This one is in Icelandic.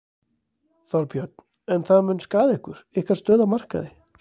Þorbjörn: En það mun skaða ykkur, ykkar stöðu á markaði?